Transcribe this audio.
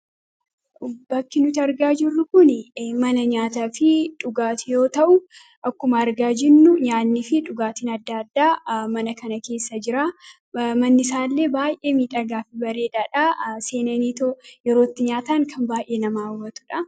bakki nuti argaa jirru kun mana nyaataa fi dhugaatii yoo ta'u akkuma argaa jirru nyaanni fi dhugaatiin addaa addaa mana kana keessa jira. Manni isaallee baay'ee miidhagaa fi bareedaadha. seenaniitoo yeroo itti nyaataan kan baay'ee nama hawwatudha.